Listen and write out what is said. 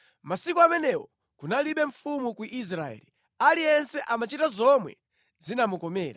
Masiku amenewo kunalibe mfumu ku Israeli. Aliyense amachita zomwe zinamukomera.